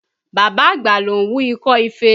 Bàbá àgbà ló ń wú ikọ́ ife